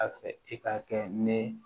A fɛ i ka kɛ ne